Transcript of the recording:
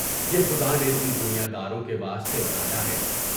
یہ خدا نے تم دنیا داروں کے واسطے بنایا ہے۔